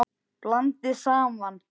Blandið saman.